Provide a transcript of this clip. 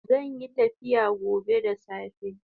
Zanyi tafiya gobe da safe